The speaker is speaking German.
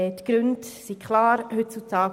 Die Gründe sind offensichtlich.